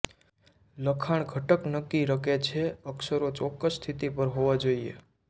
લખાણ ઘટક નક્કી રકે છે અક્ષરો ચોક્કસ સ્થિતિ પર હોવા જોઇએ